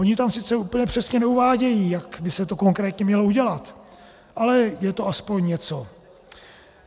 Oni tam sice úplně přesně neuvádějí, jak by se to konkrétně mělo udělat, ale je to aspoň něco.